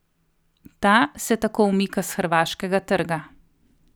Ta se tako umika s hrvaškega trga.